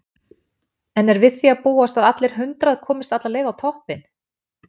En er við því að búast að allir hundrað komist alla leið á toppinn?